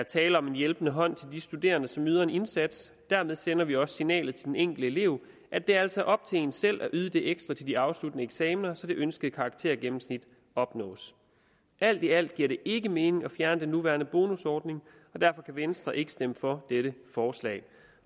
tale om en hjælpende hånd til de studerende som yder en indsats dermed sender vi også signalet til den enkelte elev at der altså er op til en selv at yde det ekstra til de afsluttende eksaminer så det ønskede karaktergennemsnit opnås alt i alt giver det ikke mening at fjerne den nuværende bonusordning og derfor kan venstre ikke stemmer for dette forslag